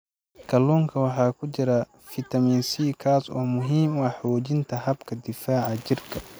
Kalluunka waxaa ku jira fitamiin C, kaas oo muhiim u ah xoojinta habka difaaca jirka.